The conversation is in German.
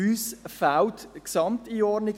«Uns fehlt die Gesamteinordnung.